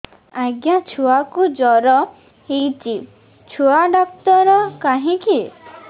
ଆଜ୍ଞା ଛୁଆକୁ ଜର ହେଇଚି ଛୁଆ ଡାକ୍ତର କାହିଁ କି